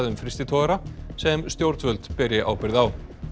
frystitogara sem stjórnvöld beri ábyrgð á